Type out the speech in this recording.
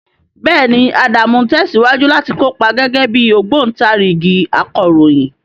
Bẹ́ẹ̀ni, Adamu ń tẹ̀síwájú láti kópa gẹ́gẹ́ bí ogobontarigi akọ̀ròyìn.